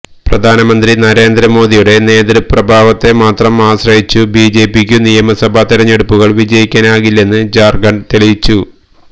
പ്രധാനമന്ത്രി നരേന്ദ്ര മോദിയുടെ നേതൃപ്രഭാവത്തെ മാത്രം ആശ്രയിച്ചു ബിജെപിക്കു നിയമസഭാ തിരഞ്ഞെടുപ്പുകൾ വിജയിക്കാനാകില്ലെന്നു ജാർഖണ്ഡ് തെളിയിച്ചു